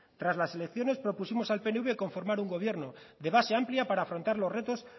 tras las elecciones propusimos al pnv conformar un gobierno de base amplia para afrontar los retos